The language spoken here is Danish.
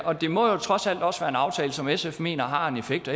og det må jo trods alt også være en aftale som sf mener har en effekt